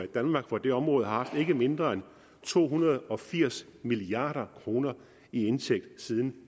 danmark på det område har haft ikke mindre end to hundrede og firs milliard kroner i indtægt siden